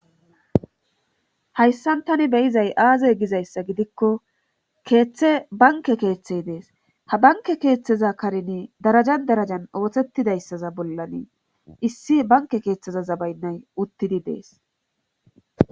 Hayssan tani beyizay aaze gizayssa gidikko keeththe banke keeththey dees ha banke keeththeza karini darajan darajan oothettidayssaza bollanin issi banke keeththeza zabaynnay uttidi dees.